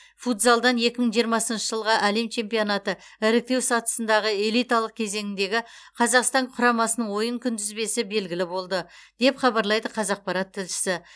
футзалдан екі мың жиырмасыншы жылғы әлем чемпионаты іріктеу сатысындағы элиталық кезеңіндегі қазақстан құрамасының ойын күнтізбесі белгілі болды деп хабарлайды қазақпарат тілшісі